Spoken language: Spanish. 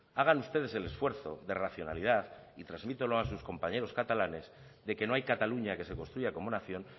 hagan ustedes el esfuerzo de racionalidad y transmítanlo a sus compañeros catalanes de que no hay cataluña que se construya como nación